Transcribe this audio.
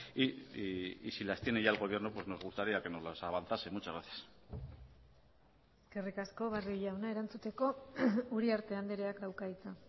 y si las tiene ya el gobierno pues nos gustaría que nos las avanzase muchas gracias eskerrik asko barrio jauna erantzuteko uriarte andreak dauka hitza